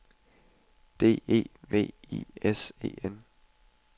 D E V I S E N